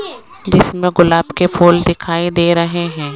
जिसमें गुलाब के फूल दिखाई दे रहे हैं।